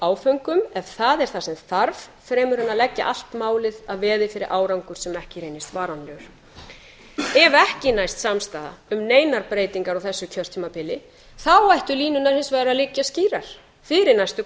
áföngum en það er það sem þarf fremur en að leggja allt málið að veði fyrir árangur sem ekki reynist varanlegur ef ekki næst samstaða um neinar breytingar á þessu kjörtímabili þá ættu línurnar hins vegar að liggja skýrar fyrir næstu